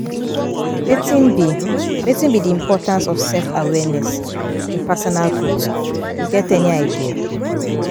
Wetin be Wetin be di importance of self-awareness in personal growth, you get any idea?